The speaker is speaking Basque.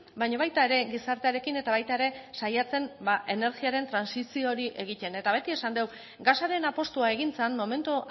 baina baita ere gizartearekin eta baita ere saiatzen energiaren trantsizio hori egiten eta beti esan dugu gasaren apustua egin zen momentu